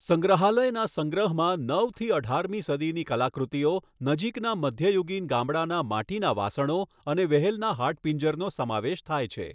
સંગ્રહાલયના સંગ્રહમાં નવથી અઢારમી સદીની કલાકૃતિઓ, નજીકના મધ્યયુગીન ગામડાના માટીના વાસણો અને વ્હેલના હાડપિંજરનો સમાવેશ થાય છે.